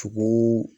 Tugu